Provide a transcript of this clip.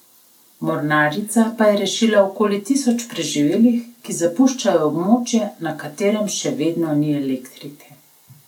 Mornarica pa je rešila okoli tisoč preživelih, ki zapuščajo območje, na katerem še vedno ni elektrike.